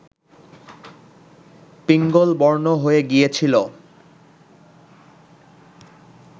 পিঙ্গলবর্ণ হয়ে গিয়েছিল